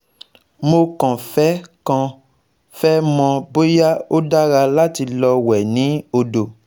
Mo kàn fẹ́ kàn fẹ́ mọ̀ bóyá ó dára láti lọ wẹ̀ ni odo